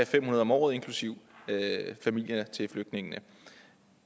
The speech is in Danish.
fem hundrede om året inklusive familierne til flygtningene